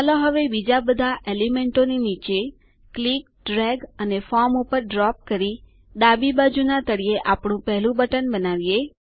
ચાલો હવે બીજા બધા એલિમેન્ટોની નીચે ક્લિક ડ્રેગ અને ફોર્મ ઉપર ડ્રોપ કરી ડાબી બાજુના તળિયે આપણું પેહલું બટન બનાવીએ